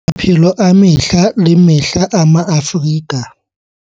Maphelo a mehla le mehla a Maafrika